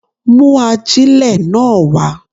Mú ajílẹ̀ náà wá.